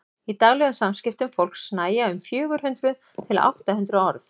í daglegum samskiptum fólks nægja um fjögur hundruð til átta hundruð orð